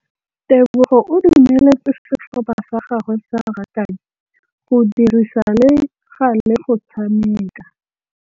Tebogô o dumeletse setlhopha sa gagwe sa rakabi go dirisa le galê go tshameka.